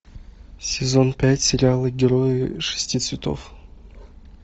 сезон пять сериала герои шести цветов